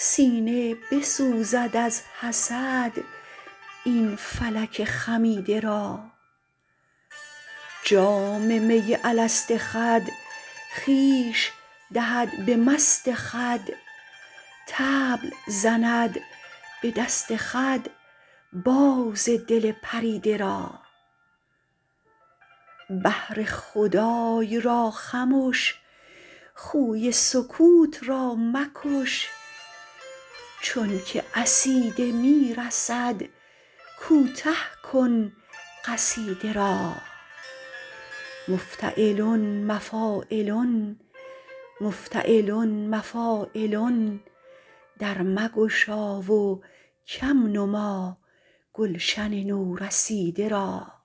سینه بسوزد از حسد این فلک خمیده را جام می الست خود خویش دهد به مست خود طبل زند به دست خود باز دل پریده را بهر خدای را خمش خوی سکوت را مکش چون که عصیده می رسد کوته کن قصیده را مفتعلن مفاعلن مفتعلن مفاعلن در مگشا و کم نما گلشن نورسیده را